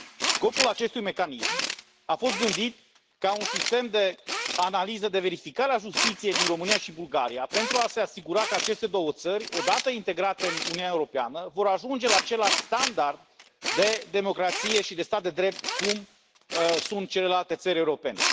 Scopul acestui mecanism a fost gândit ca un sistem de analiză, de verificare a justiției din România și Bulgaria pentru a se asigura că aceste două țări, odată integrate în Uniunea Europeană, vor ajunge la același standard de democrație și de stat de drept cum sunt celelalte țări europene.